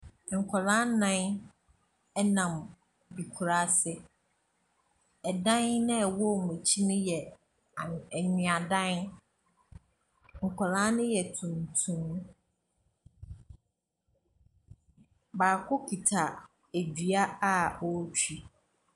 Nkwadaa nnan nam ekuraase, dan a ɛwɔ wɔn akyi ne yɛ new anweadan. Nkwadaa no yɛ tuntum, baako kita dua a ɔretwi.